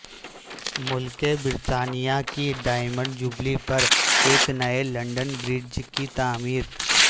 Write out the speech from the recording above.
ملکہ برطانیہ کی diamond jubilee پر ایک نئے لندن برج کی تعمیر